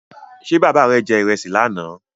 Ṣé bàbá rè je ìrẹsì lánà?